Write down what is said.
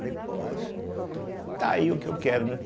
Falei, poxa, tá aí o que eu quero, né.